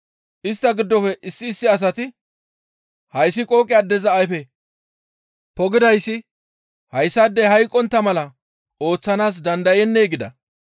Istta giddofe issi issi asati, «Hayssi qooqe addeza ayfe pogdayssi hayssaadey hayqqontta mala ooththanaas dandayennee?» gida.